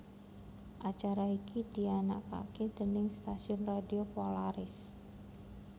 Acara iki dianakake déning stasiun radio Polaris